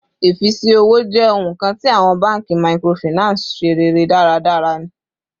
Ifisi owo jẹ ohun kan ti awọn banki microfinance ṣe rere daradara ni